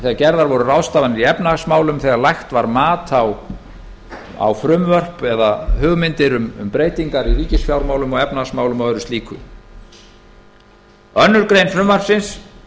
þegar gerðar voru ráðstafanir í efnahagsmálum þegar lagt var mat á frumvörp eða hugmyndir um breytingar í ríkisfjármálum og efnahagsmálum og öðru slíku annarrar greinar frumvarpsins